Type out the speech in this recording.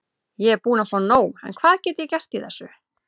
Ég er búinn að fá nóg en hvað get ég gert í þessu?